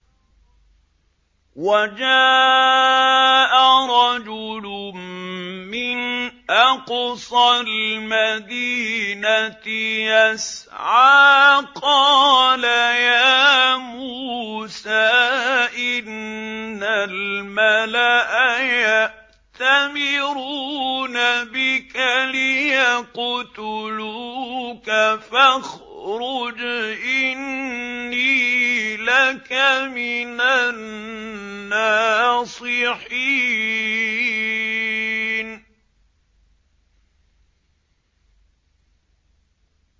وَجَاءَ رَجُلٌ مِّنْ أَقْصَى الْمَدِينَةِ يَسْعَىٰ قَالَ يَا مُوسَىٰ إِنَّ الْمَلَأَ يَأْتَمِرُونَ بِكَ لِيَقْتُلُوكَ فَاخْرُجْ إِنِّي لَكَ مِنَ النَّاصِحِينَ